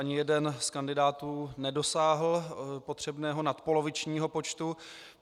Ani jeden z kandidátů nedosáhl potřebného nadpolovičního počtu.